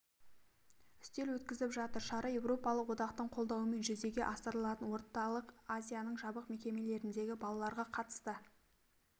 үстел өткізіп жатыр шара еуропалық одақтың қолдауымен жүзеге асырылатын орталық азияның жабық мекемелеріндегі балаларға қатысты